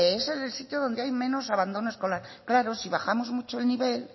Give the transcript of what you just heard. es el sitio donde hay menos abandono escolar claro si bajamos mucho el nivel